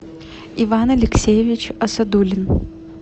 иван алексеевич асадуллин